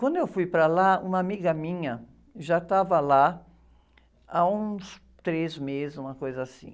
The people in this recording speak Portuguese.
Quando eu fui para lá, uma amiga minha já estava lá há uns três meses, uma coisa assim.